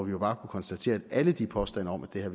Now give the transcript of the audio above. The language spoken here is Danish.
jo bare konstatere at alle de påstande om at